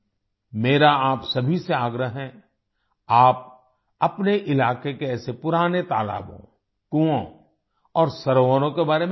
मेरा आप सभी से आग्रह है आप अपने इलाके के ऐसे पुराने तालाबों कुँओं और सरोवरों के बारे में जानें